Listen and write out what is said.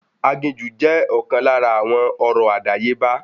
Aginjù jẹ́ ọ̀kan lára àwọn ọ̀rọ̀ àdáyébá